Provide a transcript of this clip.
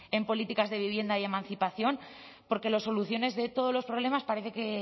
en políticas de vivienda y emancipación porque las soluciones de todos los problemas parece que